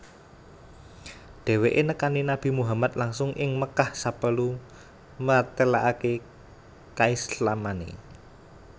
Dheweke nekani Nabi Muhammad langsung ing Mekkah saperlu mratelakake kaislamane